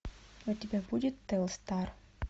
у тебя будет телстар